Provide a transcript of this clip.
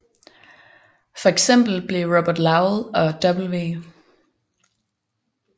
For eksempel blev Robert Lowell og W